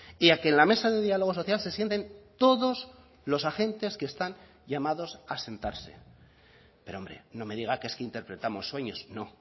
y a que en la mesa de diálogo social se sienten todos los agentes que están llamados a sentarse pero hombre no me diga que es que interpretamos sueños no